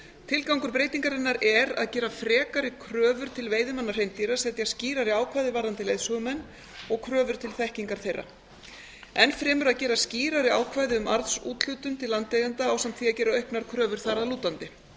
tilgangur breytingarinnar er að gera frekari kröfur til veiðimanna hreindýra setja skýrari ákvæði varðandi leiðsögumenn og kröfur til þekkingar þeirra enn fremur að gera skýrari ákvæði um arðsúthlutun til landeigenda ásamt því að gera auknar kröfur þar að lútandi